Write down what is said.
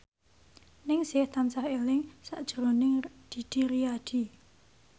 Ningsih tansah eling sakjroning Didi Riyadi